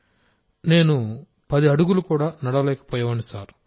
రాజేష్ ప్రజాపతి నేను పది అడుగులు కూడా నడవలేకపోయేవాడిని